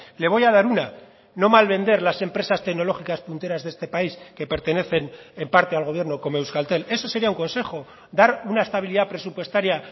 le voy a dar una no malvender las empresas tecnológicas punteras de este país que pertenecen en parte al gobierno como euskaltel eso sería un consejo dar una estabilidad presupuestaria